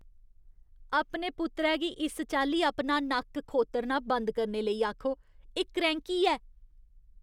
अपने पुत्तरै गी इस चाल्ली अपना नक्क खोत्तरना बंद करने लेई आखो। एह् क्रैंह्की ऐ।